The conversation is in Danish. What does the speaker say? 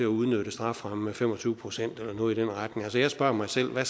udnytte strafferammen med fem og tyve procent eller noget i den retning altså jeg spørger mig selv hvad